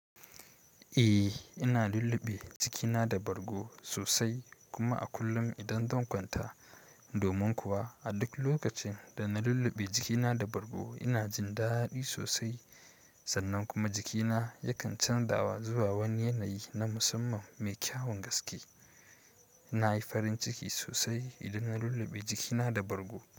Eh, ina lulluɓe jikina da bargo sosai kuma a kullum idan zan kwanta. Domin kuwa a duk lokacin da na lulluɓe jikina da bargo, ina jin daɗi sosai sannan kuma jikina yakan canzawa zuwa wani yanayi na musamman mai kyawun gaske. Na yi farin ciki sosai idan na lulluɓe jikina da bargo.